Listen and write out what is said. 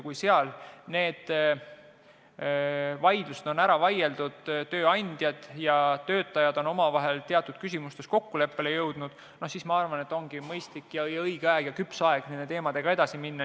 Kui seal on need vaidlused ära vaieldud, tööandjad ja töötajad on omavahel teatud küsimustes kokkuleppele jõudnud, siis ongi minu arvates mõistlik ja õige aeg nende teemadega edasi minna.